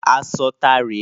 Aṣọ tá rè é?